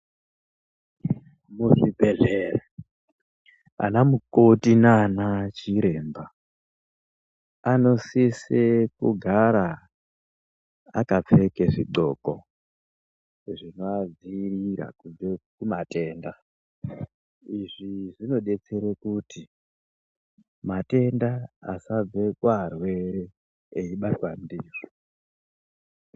Muzvibhedhlera vana makoti nanachiremba vanosise kugara vakapfeka zvidhloko zvinovadzivirira kubva kumatenda izvi zvinodetsera kuti matenda asabve kuvarwere veibatwa ndiwo.